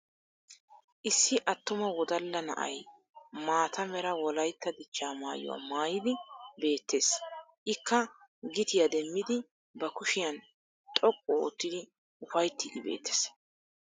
Issi attuma wodalla na'ay maata Mera wolaytta dichaa maayuwaa maayidi beettes. Ikka gitiya demmidi ba kushiyan xoqqu oottidi ufayttiiddi beettes.